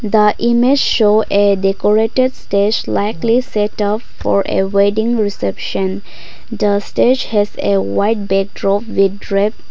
the image show a decorated this likely set of for a wedding reception the stage has a white bedroom with red.